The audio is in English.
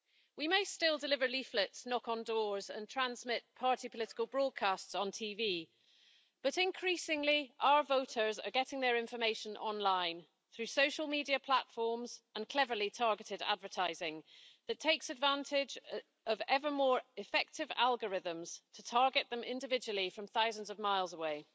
We may still deliver leaflets, knock on doors and transmit party political broadcasts on TV, but increasingly our voters are getting their information online through social media platforms and cleverly targeted advertising that takes advantage of ever more effective algorithms to target them individually from thousands of miles away.